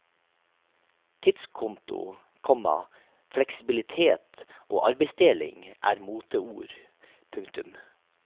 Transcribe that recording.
Tidskonto, komma fleksibilitet og arbeidsdeling er moteord. punktum